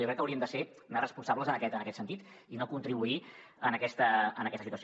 jo crec que haurien de ser més responsables en aquest sentit i no contribuir a aquesta situació